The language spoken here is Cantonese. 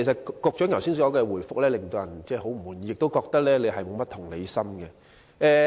局長剛才的答覆令人很不滿意，亦令人覺得他缺乏同理心。